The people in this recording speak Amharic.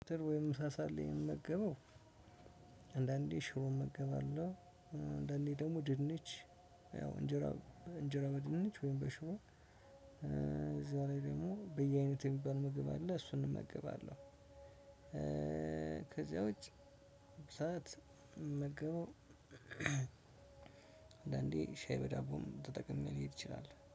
ወይም ምሳ ሰዓት ላይ የምመገበው አንዳንዴ ሽሮ እመገባለሁ። አንዳንዴ ደግሞ ድንች ያው እንጀራ እንጀራ በድንች ወይም በሽሮ በዛላይ ደግሞ በየአይነት የሚባል ምግብ አለ እሱን እንመገባለን። ከዚያ ውጪ ሰዓት እምመገበው። አንዳንዴ ሻይ በዳቦም ተጠቅሜ ሊሄድ ይችላል